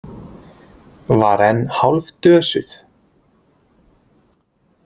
Var enn hálfdösuð.